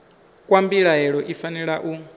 kwa mbilaelo i fanela u